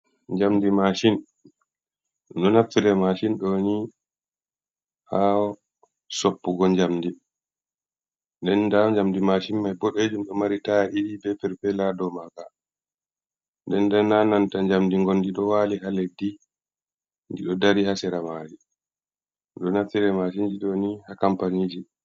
Njamdi macin ɗo naffire macin doni ha soppugo, jamdi nden nda jamdi machin mai bodejum do mari taya ɗiɗi be perpela ɗo maga, nden nda nananta jamdi gondi do wali ha leddi ndi ɗo dari hasera mari ɗo naftire mashinji ɗo ni ha campania ji.